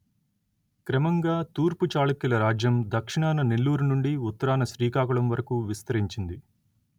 క్రమంగా తూర్పు చాళుక్యుల రాజ్యం దక్షిణాన నెల్లూరు నుండి ఉత్తరాన శ్రీకాకుళం వరకు విస్తరించింది